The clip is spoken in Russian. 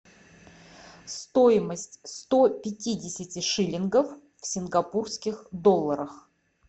стоимость сто пятидесяти шиллингов в сингапурских долларах